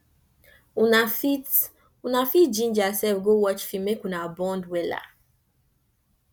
una fit una fit ginger sef go watch film mek una bond wella